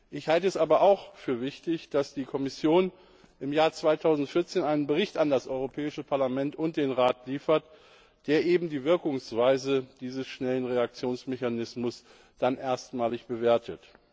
Ich halte es aber auch für wichtig, dass die Kommission im Jahr 2014 einen Bericht an das Europäische Parlament und den Rat liefert, der eben die Wirkungsweise dieses schnellen Reaktionsmechanismus dann erstmalig bewertet.